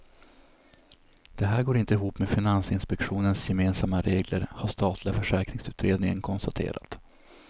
Det här går inte ihop med finansinspektionens gemensamma regler har statliga försäkringsutredningen konstaterat.